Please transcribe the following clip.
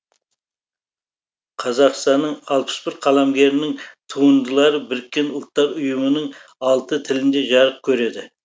қазақстанның алпыс бір қаламгерінің туындылары біріккен ұлттар ұйымының алты тілінде жарық көреді